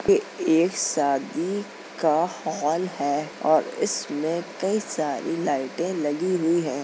ये एक शादी का हॉल है और इसमें कई सारी लाइटें लगी हुई हैं।